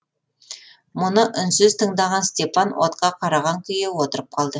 мұны үнсіз тыңдаған степан отқа қараған күйі отырып қалды